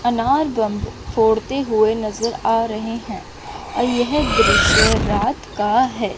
अनार बम फोड़ते हुए नजर आ रहे हैं और यह दृश्य रात का है।